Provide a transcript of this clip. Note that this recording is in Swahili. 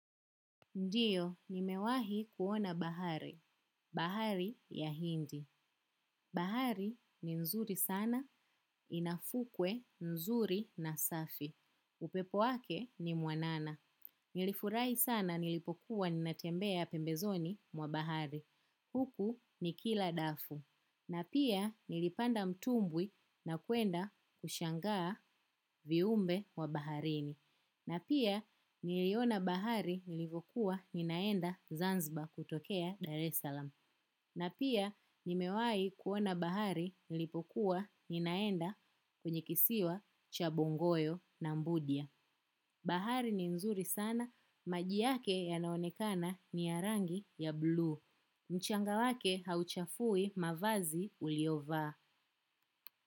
Ndiyo, nimewahi kuona bahari. Bahari ya hindi. Bahari ni mzuri sana, inafukwe nzuri na safi. Upepo wake ni mwanana. Nilifurai sana nilipokuwa ninatembea pembezoni mwa bahari. Huku nikila dafu. Na pia nilipanda mtumbwi na kuenda kushangaa viumbe wa baharini. Na pia, niliona bahari nilivokuwa ninaenda Zanzba kutokea Dar es Salaam. Na pia, nimewai kuona bahari nilipokuwa ninaenda kwenye kisiwa chabongoyo na mbudia. Bahari ni nzuri sana. Maji yake yanaonekana ni ya rangi ya blue. Mchanga wake hauchafui mavazi uliovaa.